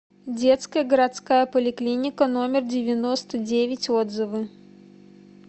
детская городская поликлиника номер девяносто девять отзывы